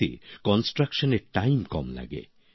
এতে নির্মাণ কাজে সময় কম লাগে